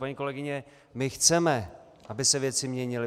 Paní kolegyně, my chceme, aby se věci měnily.